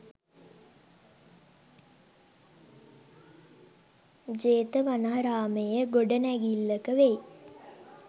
ජේතවනාරාමයේ ගොඩනැඟිල්ලක වෙයි.